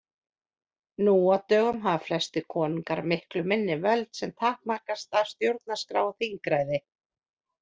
Nú á dögum hafa flestir konungar miklu minni völd sem takmarkast af stjórnarskrá og þingræði.